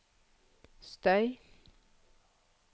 støy